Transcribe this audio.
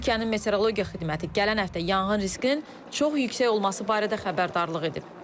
Türkiyənin Metrologiya xidməti gələn həftə yanğın riskinin çox yüksək olması barədə xəbərdarlıq edib.